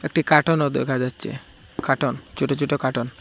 একটি কাটন ও দেখা যাচ্চে কাটন চোটো চোটো কাটন ।